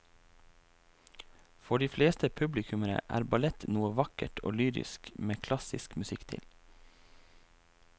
For de fleste publikummere er ballett noe vakkert og lyrisk med klassisk musikk til.